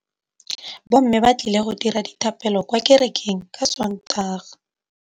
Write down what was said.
Bommê ba tla dira dithapêlô kwa kerekeng ka Sontaga.